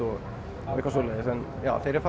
þegar ég